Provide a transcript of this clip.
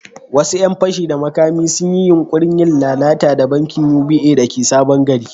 Wasu ‘yan fashi da makami sun yi yunkurin yin lalata da bankin UBA da ke Sabon Gari.